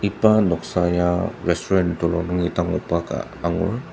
iba noksa ya restuarant telung nungi dangokba ka angur.